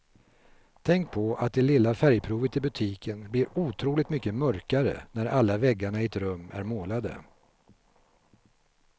Tänk på att det lilla färgprovet i butiken blir otroligt mycket mörkare när alla väggarna i ett rum är målade.